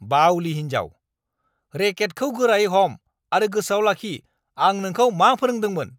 बाउलि हिन्जाव! रेकेटखौ गोरायै हम आरो गोसोआव लाखि आं नोंखौ मा फोरोंदोंमोन!